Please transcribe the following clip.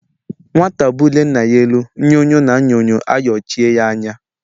Nwata bulie Nna ya elu nyo-nyo na Nyo-nyo ayochie ya anya.